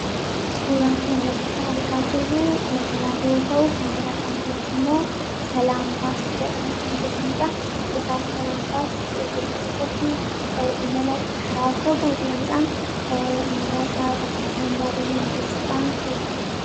suuraa kanratti kan argaa jirruu konkolaata yoo ta'uu konkolaataan kunis immoo salaam baas jadhame kan beekamuudha egaa salaam baas itopiyaa keessatti imala karaa fagoo deemuudhaan namoota bakka isaan yaadanin geesuudhaan beekama